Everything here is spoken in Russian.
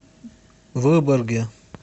выборге